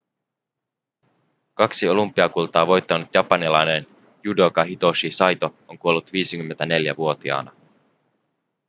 kaksi olympiakultaa voittanut japanilainen judoka hitoshi saito on kuollut 54-vuotiaana